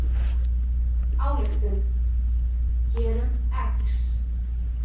Ályktun: gerum „x“.